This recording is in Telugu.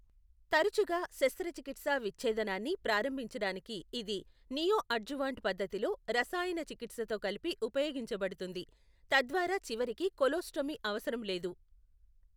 తరచుగా, శస్త్రచికిత్సా విచ్ఛేదనాన్ని ప్రారంభించడానికి ఇది నీయోఅడ్జువాంట్ పద్ధతిలో రసాయన చికిత్సతో కలిపి ఉపయోగించబడుతుంది, తద్వారా చివరికి కోలోస్టోమీ అవసరం లేదు.